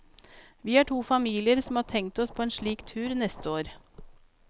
Vi er to familier som har tenkt oss på en slik tur neste år.